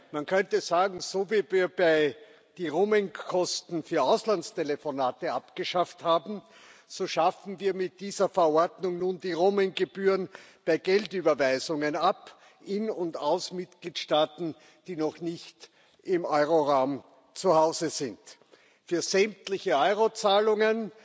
Man könnte sagen So, wie wir die Roaming Kosten für Auslandstelefonate abgeschafft haben, so schaffen wir mit dieser Verordnung nun die Roaming Gebühren bei Geldüberweisungen ab, in und aus Mitgliedstaaten, die noch nicht im Euroraum zu Hause sind. Für sämtliche Euro Zahlungen